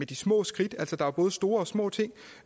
de små skridt altså der er jo både store og små ting